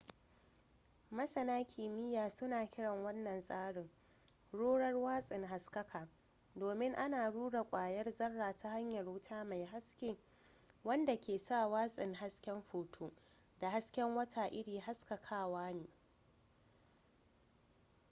masana kimiyya suna kiran wannan tsarin rurar watsin haskaka domin ana rura ƙwayar zarra ta hanyar wuta mai haske wanda ke sa watsin hasken foton da haske wata iri haskakawa ne